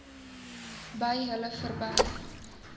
by hulle verby